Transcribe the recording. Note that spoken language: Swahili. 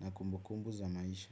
na kumbu kumbu za maisha.